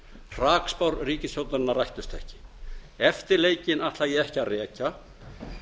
hrakspár ríkisstjórnarinnar rættust ekki eftirleikinn ætla ég ekki að rekja